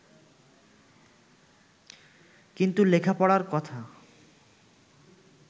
কিন্তু লেখাপড়ার কথা